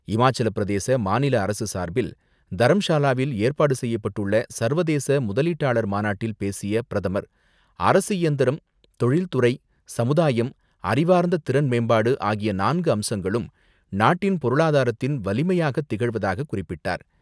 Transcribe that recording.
இமாச்சலப்பிரதேச மாநில அரசு சார்பில் தரம்ஷாலாவில் ஏற்பாடு செய்யப்பட்டுள்ள சர்வதேச முதலீட்டாளர் மாநாட்டில் பேசிய பிரதமர் அரசு இயந்திரம், தொழில் துறை, சமுதாயம், அறிவார்ந்த திறன்மேம்பாடு ஆகிய நான்கு அம்சங்களும் நாட்டின் பொருளாதாரத்தின் வலிமையாக திகழ்வதாக குறிப்பிட்டார்.